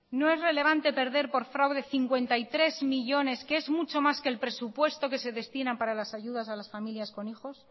no es relevante perder por fraude cincuenta y tres millónes que es mucho más que el presupuesto que se destina para las ayudas a familias con hijos